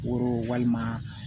Woro walima